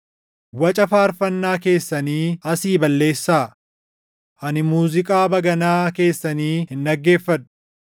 Waca faarfannaa keessanii asii balleessaa! Ani muuziiqaa baganaa keessanii hin dhaggeeffadhu.